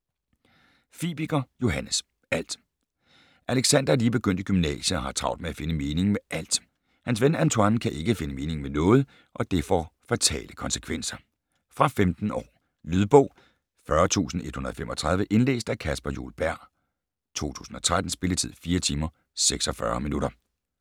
Fibiger, Johannes: Alt Alexander er lige begyndt i gymnasiet og har travlt med at finde meningen med alt. Hans ven Antoine kan ikke finde meningen med noget, og det får fatale konsekvenser. Fra 15 år. Lydbog 40135 Indlæst af Caspar Juel Berg, 2013. Spilletid: 4 timer, 46 minutter.